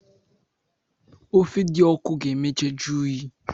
Ofe di ọku ga emecha juyi.